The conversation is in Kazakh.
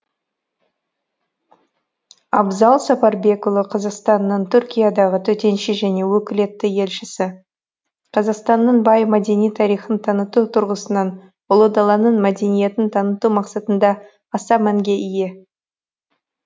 абзал сапарбекұлы қазақстанның түркиядағы төтенше және өкілетті елшісі қазақстанның бай мәдени тарихын таныту тұрғысынан ұлы даланың мәдениетін таныту мақсатында аса мәнге ие